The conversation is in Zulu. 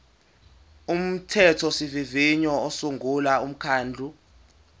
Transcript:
umthethosivivinyo usungula umkhandlu